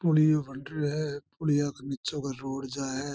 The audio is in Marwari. पुलियो बन रहो है पुलियो के निचे से रोड जा है।